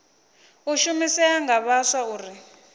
u shumisea nga vhaswa uri